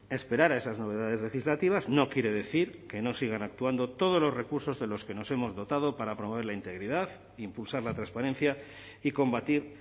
esperar a esas novedades legislativas no quiere decir que no sigan actuando todos los recursos de los que nos hemos dotado para promover la integridad impulsar la transparencia y combatir